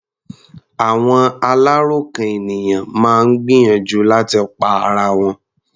Àwọn aláròkàn ènìyàn máa ń gbìyànjú láti pa ara wọn.